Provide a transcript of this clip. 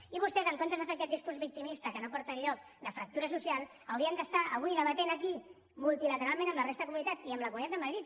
i vostès en comptes de fer aquest discurs victimista que no porta enlloc de fractura social haurien d’estar avui debaten aquí multilateralment amb la resta de comunitats i amb la comunitat de madrid